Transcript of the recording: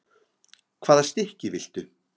Hvaða stykki viltu?